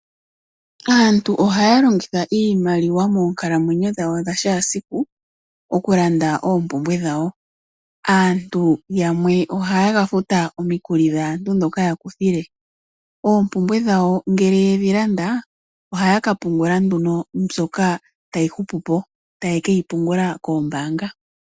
Aantu ohaya longitha iimaliwa moonkalamwenyo dhawo dha kehe esiku oku landa oompumbwe dhawo. Aantu yamwe ohaya ka futa omikuli dhaantu ndhoka ya kuthile. Oompumbwe dhawo ngele yedhi landa ohaya ka pungula nduno mbyoka tayi hupu po, taye ke yi pungula koombaanga.